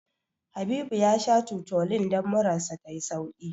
Habibu ya sha Tutolin don murar sa ta yi sauƙi.